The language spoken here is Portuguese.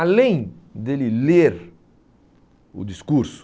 Além dele ler o discurso,